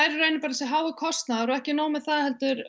er í raun þessi hái kostnaður og ekki nóg með það